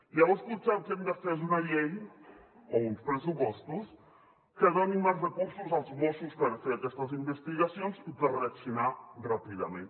llavors potser el que hem de fer és una llei o uns pressupostos que donin més recursos als mossos per fer aquestes investigacions i per reaccionar ràpidament